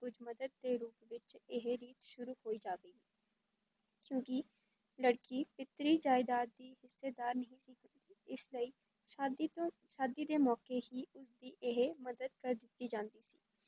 ਕੁੱਝ ਮੱਦਦ ਦੇ ਰੂਪ ਵਿਚ ਇਹ ਰੀਤ ਸ਼ੁਰੂ ਹੋਈ ਜਾਵੇਗੀ ਕਿਉਂਕਿ ਲੜਕੀ ਪਿਤਰੀ ਜਾਇਦਾਦ ਦੀ ਹਿੱਸੇਦਾਰ ਨਹੀਂ ਸੀ ਹੁੰਦੀ, ਇਸ ਲਈ ਸ਼ਾਦੀ ਤੋਂ ਸ਼ਾਦੀ ਦੇ ਮੌਕੇ ਹੀ ਉਸ ਦੀ ਇਹ ਮੱਦਦ ਕਰ ਦਿੱਤੀ ਜਾਂਦੀ ਸੀ,